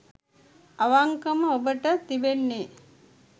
අවංකවම ඔබට තිබෙන්නේ